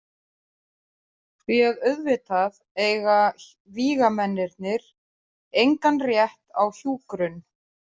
Því að auðvitað eiga vígamennirnir engan rétt á hjúkrun.